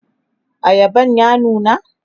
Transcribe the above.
ayaban ya nuna?